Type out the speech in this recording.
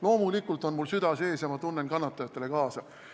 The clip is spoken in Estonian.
Loomulikult on mul süda sees ja ma tunnen kannatajatele kaasa.